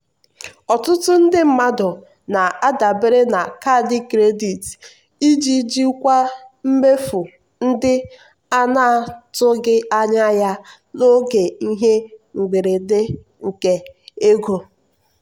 ọtụtụ ndị mmadụ na-adabere na kaadị kredit iji jikwaa mmefu ndị a na-atụghị anya ya n'oge ihe mberede nke ego.